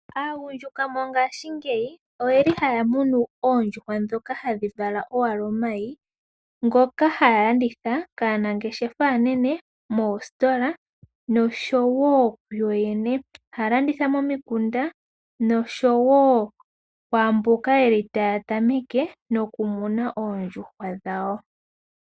Aagundjuka mongashingeyi oyeli haya munu oondjuhwa ndhoka hadhi vala owala omayi, ngoka haya landitha kaanangeshefa aanene, moositola, noshowo kuyoyene. Ohaya landitha momikunda noshowo kwaamboka yeli taya tameke nokumuna oondjuhwa dhawo.